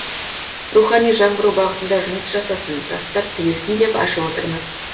рухани жаңғыру бағытында жұмыс жасасын жастар түлесін деп ашып отырмыз